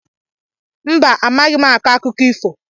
Mba, amaghị m akọ akụkọ ifo.